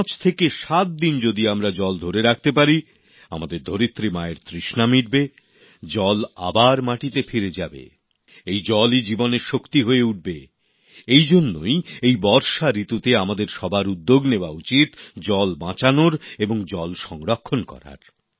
পাঁচ থেকে সাত দিন যদি আমরা জল ধরে রাখতে পারি আমাদের ধরিত্রী মায়ের তৃষ্ণা মিটবে জল আবার মাটিতে ফিরে যাবে এই জলই জীবনের শক্তি হয়ে উঠবে এই জন্যই এই বর্ষা ঋতুতে আমাদের সবার উদ্যোগ নেয়া উচিত জল বাঁচানোর এবং জল সংরক্ষণ করার